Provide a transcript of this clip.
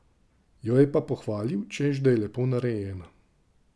Jo je pa pohvalil, češ da je lepo narejena.